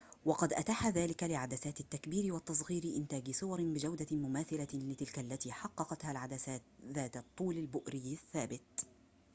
وقد أتاح ذلك لعدسات التكبير والتصغير إنتاج صور بجودة مماثلة لتلك التي حققتها العدسات ذات الطول البؤري الثابت